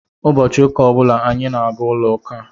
Ụbọchị ụka ọ bụla anyị na-aga n'ụlọ uka.